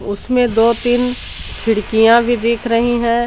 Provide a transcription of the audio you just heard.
उसमें दो तीन खिड़कियां भी दिख रही हैं।